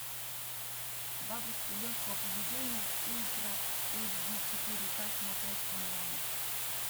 бабушка легкого поведения ультра эйч ди четыре ка смотреть онлайн